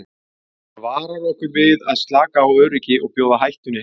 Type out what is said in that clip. Hann varar okkur við að slaka á öryggi og bjóða hættunni heim.